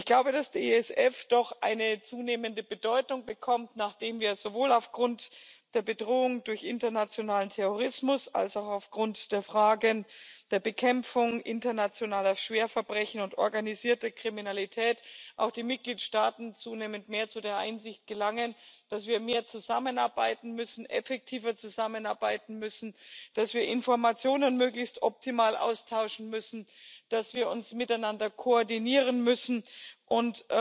Ich glaube, dass der ISF doch eine zunehmende Bedeutung bekommt, nachdem wir und auch die Mitgliedstaaten sowohl aufgrund der Bedrohung durch internationalen Terrorismus als auch aufgrund der Fragen der Bekämpfung internationaler Schwerverbrechen und organisierter Kriminalität zunehmend zu der Einsicht gelangen, dass wir mehr zusammenarbeiten müssen, effektiver zusammenarbeiten müssen, dass wir Informationen möglichst optimal austauschen müssen, dass wir uns miteinander koordinieren müssen und